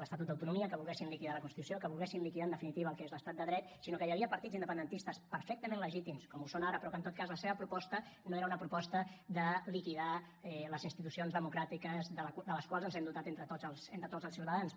l’estatut d’autonomia que volguessin liquidar la constitució que volguessin liquidar en definitiva el que és l’estat de dret sinó que hi havia partits independentistes perfectament legítims com ho són ara però que en tot cas la seva proposta no era una proposta de liquidar les institucions democràtiques de les quals ens hem dotat entre tots els ciutadans